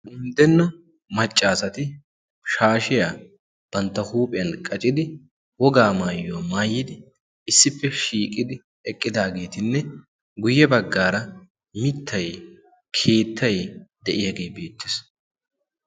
unddenna maccaasati shaashiyaa bantta huuphiyan qacidi wogaa maayuwaa maayidi issippe shiiqidi eqqidaageetinne guyye baggaara mittay keettay de7iyaagee beettes.